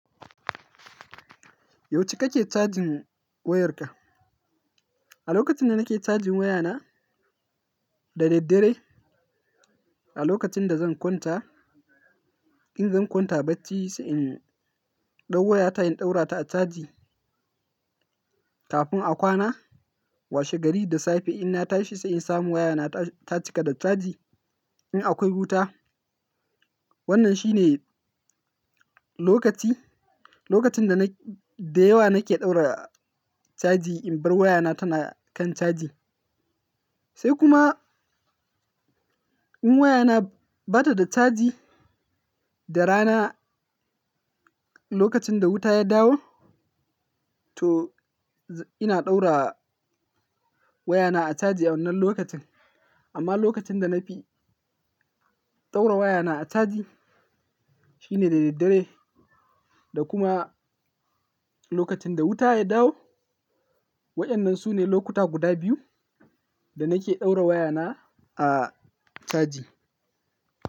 Yauce kake charging wayarka? A lokacin da nake charging wayana, da daddare. A lokacin da zan kwanta, in zan kwanta bacci sai in ɗaura wayata, in ɗaura ta a caji kafin a kwana. Washe gari da safe inna tashi sai in samu wayana ta cika da caji in akwai wuta. Wannan shi ne lokaci, lokacin da nak-- da yawa nake ɗaura caji in bar wayana tana kan caji. Sai kuma in wayana bata da caji, da rana lokacin da wuta ya dawo, to ina ɗaura wayana a caji a wannan lokacin. Amma lokacin da na fi ɗaura wayana a caji shi ne da daddare da kuma lokacin da wuta ya dawo. Waɗannan su ne lokuta guda biyu da nake ɗaura wayana a caji.